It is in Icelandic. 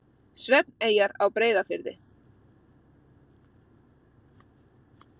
Svefneyjar á Breiðafirði.